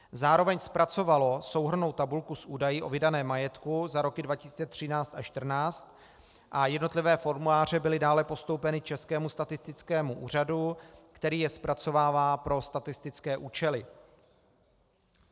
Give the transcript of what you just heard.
Zároveň zpracovalo souhrnnou tabulku s údaji o vydaném majetku za roky 2013 a 2014 a jednotlivé formuláře byly dále postoupeny Českému statistickému úřadu, který je zpracovává pro statistické účely.